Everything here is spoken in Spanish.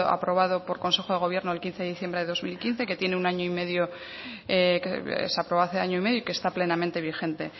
aprobado por consejo de gobierno el quince de diciembre de dos mil quince que tiene un año y medio que se aprobó hace año y medio y que está plenamente vigente